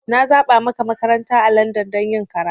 Na zaba maka makaranta a Landan don yin karatu.